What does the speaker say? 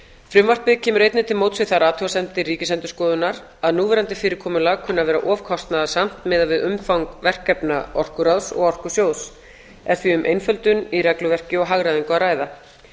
frumvarpið kemur einnig til móts við þær athugasemdir ríkisendurskoðunar að núverandi fyrirkomulag kunni að vera of kostnaðarsamt miðað við umfang verkefna orkuráðs og orkusjóðs er því um einföldun í regluverki og hagræðingu að ræða